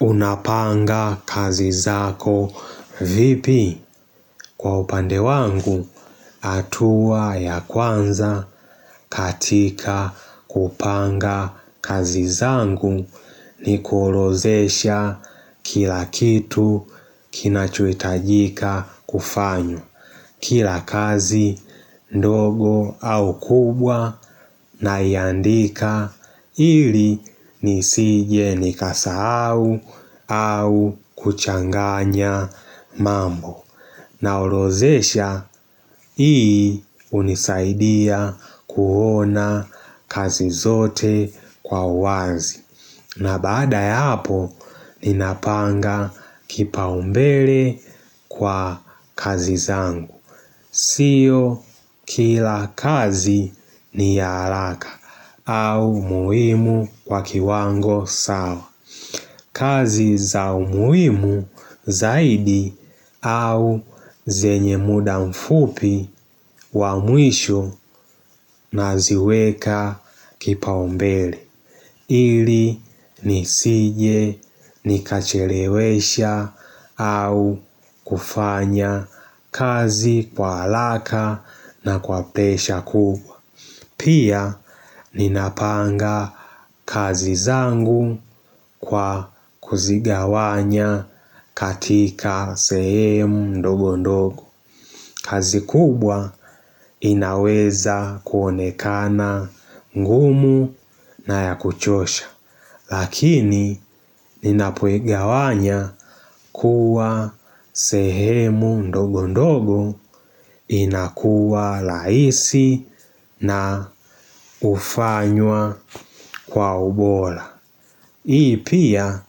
Unapanga kazi zako vipi kwa upande wangu hatua ya kwanza katika kupanga kazi zangu ni kuorodhesha kila kitu kinachohitajika kufanywa. Kila kazi ndogo au kubwa naiandika ili nisije nikasahau au kuchanganya mambo. Na orodhesha hii hunisaidia kuona kazi zote kwa uwazi. Na baada ya hapo ninapanga kipaumbele kwa kazi zangu. Sio kila kazi ni ya haraka au muhimu kwa kiwango sawa. Kazi za umuhimu zaidi au zenye muda mfupi wa mwisho na ziweka kipa umbele. Ili nisije nikachelewesha au kufanya kazi kwa haraka na kwa presha kubwa Pia ninapanga kazi zangu kwa kuzigawanya katika sehemu ndogo ndogo kazi kubwa inaweza kuonekana ngumu na ya kuchosha Lakini ninapoigawanya kuwa sehemu ndogo ndogo inakuwa rahisi na hufanywa kwa ubora. Hii pia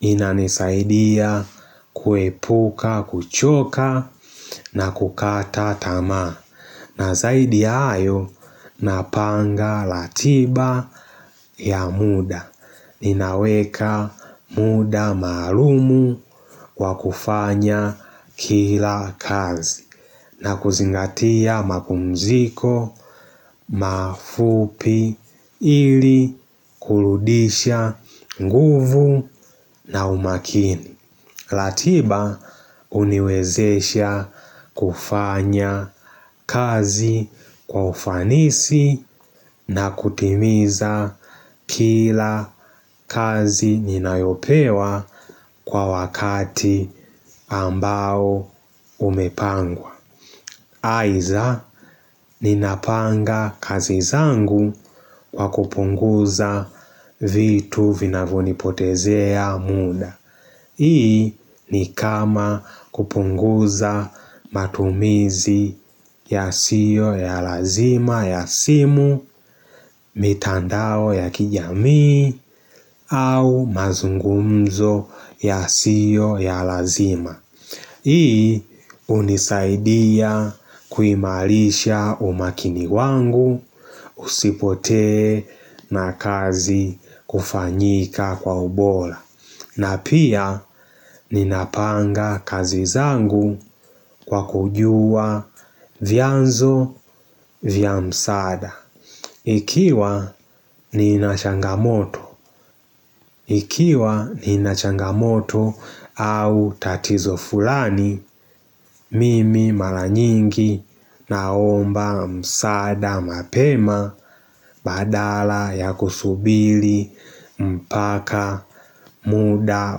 inanisaidia kuepuka, kuchoka na kukata tamaa na zaidi ya hayo napanga ratiba ya muda Ninaweka muda maalumu wa kufanya kila kazi na kuzingatia mapumziko, mafupi, ili, kurudisha, nguvu na umaakini ratiba huniwezesha kufanya kazi kwa ufanisi na kutimiza kila kazi ninayopewa kwa wakati ambao umepangwa Aidha ninapanga kazi zangu kwa kupunguza vitu vinavyonipotezea muda. Hii ni kama kupunguza matumizi yasio ya lazima ya simu mitandao ya kijamii au mazungumzo yasiyo ya lazima. Hii hunisaidia kuimarisha umaakini wangu usipotee na kazi kufanyika kwa ubora. Na pia ninapanga kazi zangu kwa kujua vyanzo vya msaada. Ikiwa nina changamoto au tatizo fulani mimi mara nyingi na omba msaada mapema badala ya kusubiri mpaka muda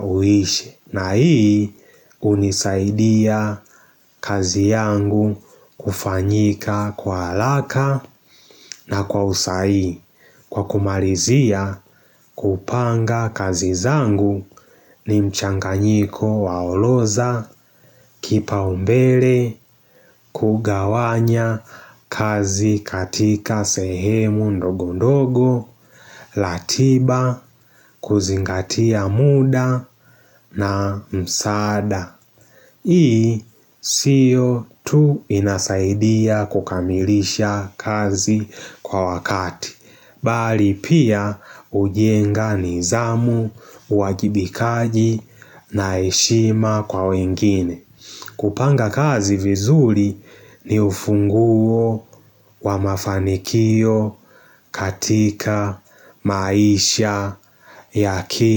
uishe. Na hii hunisaidia kazi yangu kufanyika kwa haraka na kwa usahihi Kwa kumalizia kupanga kazi zangu ni mchanganyiko wa orodha Kipa umbele kugawanya kazi katika sehemu ndogo ndogo ratiba kuzingatia muda na msaada Hii, sio tu inasaidia kukamilisha kazi kwa wakati. Bali pia hujenga nizamu, uwajibikaji na heshima kwa wengine. Kupanga kazi vizuri ni ufunguo wa mafanikio katika maisha ya akili.